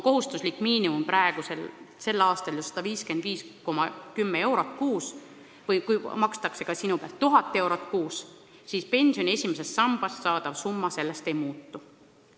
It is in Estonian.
Kohustuslik miinimum sel aastal on 155,10 eurot kuus, aga kui sinu palga pealt makstakse 1000 eurot kuus, siis pensioni esimesest sambast saadav summa sellest ei muutu.